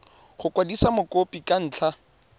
go kwadisa mokopi ka ntlha